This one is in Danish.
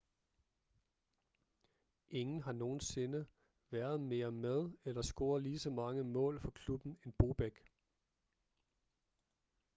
ingen har nogensinde været mere med eller scoret ligeså mange mål for klubben end bobek